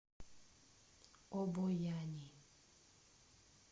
обояни